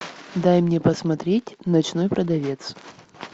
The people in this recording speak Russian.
дай мне посмотреть ночной продавец